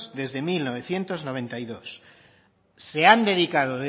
desde mil novecientos noventa y dos se han dedicado